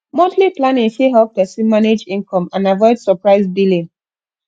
monthly planning fit help person manage income and avoid surprise billing